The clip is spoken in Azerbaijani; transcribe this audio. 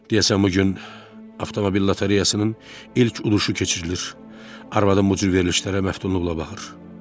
Deyəsən bu gün avtomobil lotereyasının ilk uduşu keçirilir, arvadım bu cür verilişlərə məftunluqla baxır.